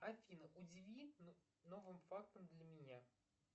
афина удиви новым фактором для меня